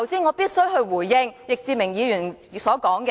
我必須回應易志明議員剛才的言論。